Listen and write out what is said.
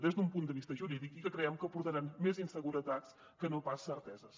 des d’un punt de vista jurídic i que creiem que portaran més inseguretats que no pas certeses